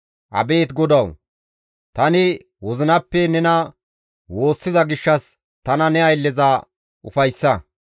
Abeet Godawu! Tani wozinappe nena woossiza gishshas tana ne aylleza ufayssa.